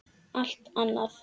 Allt annað!